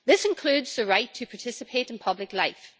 This includes the right to participate in public life.